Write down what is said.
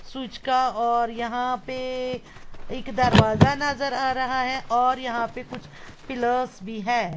सुजका और यहां पे एक दरवाजा नजर आ रहा है और यहां पे कुछ पिलर्स भी हैं।